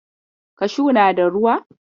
Kashu na da ruwa.